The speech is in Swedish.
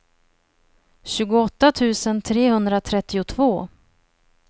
tjugoåtta tusen trehundratrettiotvå